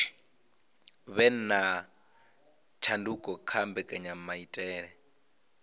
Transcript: vhe na tshanduko kha mbekanyamaitele